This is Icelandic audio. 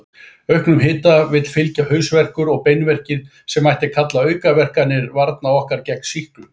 Auknum hita vill fylgja hausverkur og beinverkir, sem mætti kalla aukaverkanir varna okkar gegn sýklum.